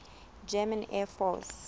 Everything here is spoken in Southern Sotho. german air force